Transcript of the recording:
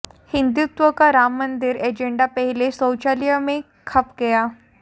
हिंदुत्व का राम मंदिर एजेंडा पहले शौचालय में खप गया